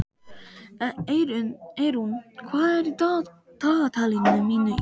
Eirún, hvað er á dagatalinu mínu í dag?